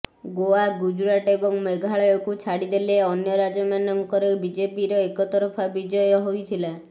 ଗୋଆ ଗୁଜରାଟ ଏବଂ ମେଘାଳୟକୁ ଛାଡ଼ିଦେଲେ ଅନ୍ୟ ରାଜ୍ୟମାନଙ୍କରେ ବିଜେପିର ଏକତରଫା ବିଜୟ ହୋଇଥିଲା